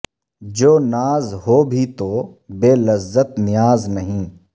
جو ناز ہو بھی تو بے لذت نیاز نہیں